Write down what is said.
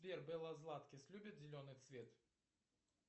сбер белла златкис любит зеленый цвет